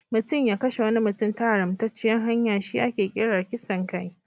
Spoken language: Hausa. Mutum ya kashe wani mutum ta haramtacciyar hanya shi ake kira kisan kai.